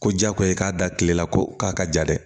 Ko jagoya ye k'a da kile la ko k'a ka ja dɛ